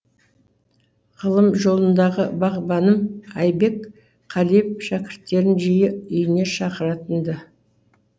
ғылым жолындағы бағбаным айбек қалиев шәкірттерін жиі үйіне шақыратын ды